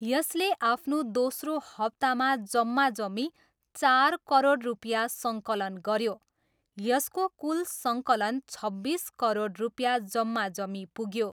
यसले आफ्नो दोस्रो हप्तामा जम्माजम्मी चार करोड रुपियाँ सङ्कलन गऱ्यो, यसको कुल सङ्कलन छब्बिस करोड रुपियाँ जम्माजम्मी पुग्यो।